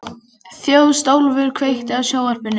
Þjóstólfur, kveiktu á sjónvarpinu.